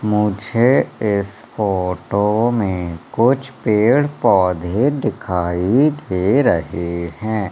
मुझे इस फोटो में कुछ पेड़ पौधे दिखाई दे रहे हैं।